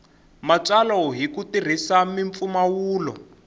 matsalwa hi ku tirhisa mimpfumawulo